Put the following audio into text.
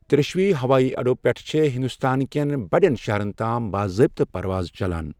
ترٛیٚشوٕے ہَوٲیی اَڈو پیٹھٕ چھےٚ ہِنٛدوستان كٮ۪ن بڑٮ۪ن شہرن تام باضٲبطہٕ پروازٕ چلان۔